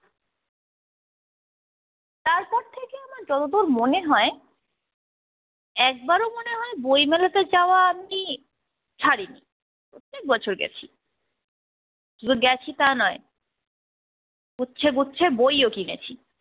তারপর থেকে আমার যতদুর মনে হয় একবারো মনে হয় বইমেলাতে যাওয়া আমি ছাড়িনি। প্রত্যেক বছর গেছি শুধু গেছি তা নয় গুচ্ছ গুচ্ছ বইও কিনেছি।